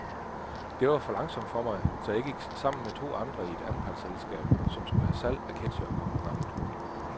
Det var for langsomt for mig, så jeg gik sammen med to andre i et anpartselskabanpartsselskab, som skulle have salg af ketchereketsjere på programmet.